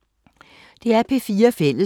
DR P4 Fælles